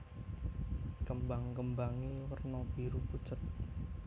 Kembang kembangé werna biru pucet